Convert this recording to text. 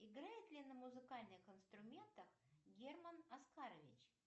играет ли на музыкальных инструментах герман оскарович